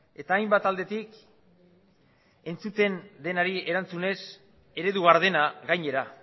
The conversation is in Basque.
eta hainbat aldetik entzuten denari erantzunez eredu gardena gainera